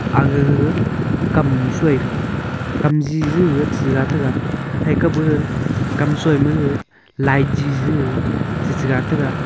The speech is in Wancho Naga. aga gaga kamnu soi thega kamji jige chira tega thaika gaga kamsoi maga light ji gaga shechiga taiga.